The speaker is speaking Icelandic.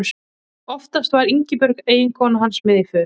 Oftast var Ingibjörg eiginkona hans með í för.